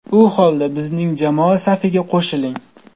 U holda bizning jamoa safiga qo‘shiling!